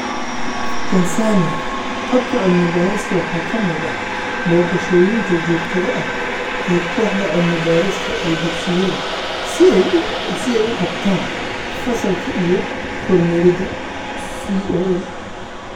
Tansaaniya, habka cilmi-baarista waxaa ka mid ah booqashooyinka joogtada ah ee kooxda cilmi-baarista ee dugsiyada si ay u qabtaan fasalka iyo kormeerida CoL.